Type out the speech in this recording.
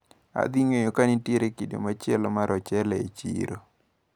Adhing`eyo ka nitiere kido machielo mar ochele e chiro.